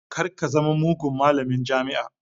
Kar ka zama mugun malamin jami'a